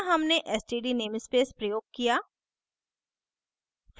यहाँ हमने std namespace प्रयोग किया